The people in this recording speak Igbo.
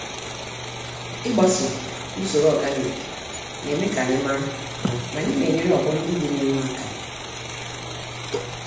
Ịgbaso usoro ọganik, neme kanyi màrà, na anyị na enyere ọgbọ ndị dị n'ihu àkà